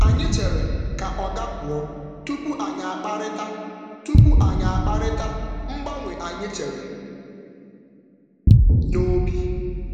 Anyị chere ka oga pụọ tupu anyị akparịta anyị akparịta mgbanwe anyị chere n’obi.